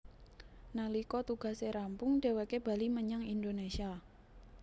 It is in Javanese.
Nalika tugase rampung dheweké bali menyang Indonésia